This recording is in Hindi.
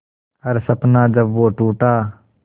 हर सपना जब वो टूटा